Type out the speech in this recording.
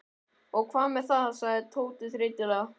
Og hvað með það? sagði Tóti þreytulega.